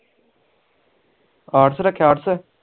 arts ਰਖਿਆ arts